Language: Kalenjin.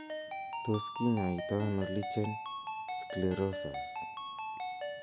Tos kinyoitaiano lichen sclerosus ?